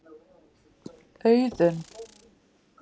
Þú getur lesið svarið með því að smella hér.